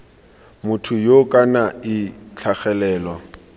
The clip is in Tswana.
motho yoo kana ii tlhagelelo